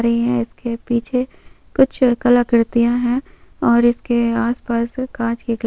कुछ कलाकृतियाँ हैं और इसके आस-पास काँच के ग्लासेस लगाए गए हैं।